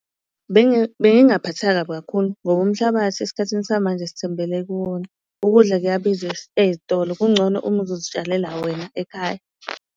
Bengingaphatheka kabi kakhulu ngoba umhlabathi esikhathini samanje sithembele kuwona, ukudla kuyabiza ey'tolo kungcono uma uzozitshalela wena ekhaya.